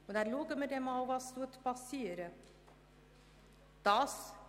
Und dann schauen wir mal, was geschehen wird.